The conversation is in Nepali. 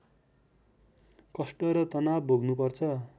कष्ट र तनाव भोग्नुपर्छ